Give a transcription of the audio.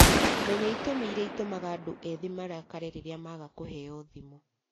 Menya itũmi iria itũmaga andũ ethĩ marakarie rĩrĩa maaga kũheo thimũ